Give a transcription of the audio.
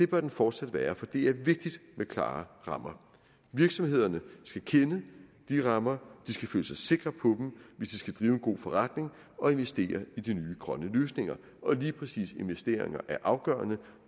bør det fortsat være for det er vigtigt med klare rammer virksomhederne skal kende rammerne de skal føle sig sikre på dem hvis de skal drive en god forretning og investere i de nye grønne løsninger og lige præcis investeringer er afgørende